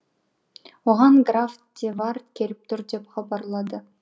оған граф де вард келіп тур деп хабарлады